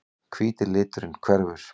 Hvíti liturinn hverfur.